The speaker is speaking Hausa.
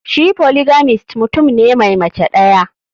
Shi polygamist mutum ne Mai Mace daya.